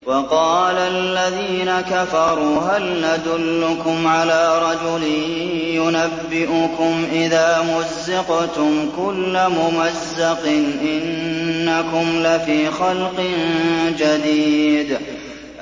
وَقَالَ الَّذِينَ كَفَرُوا هَلْ نَدُلُّكُمْ عَلَىٰ رَجُلٍ يُنَبِّئُكُمْ إِذَا مُزِّقْتُمْ كُلَّ مُمَزَّقٍ إِنَّكُمْ لَفِي خَلْقٍ جَدِيدٍ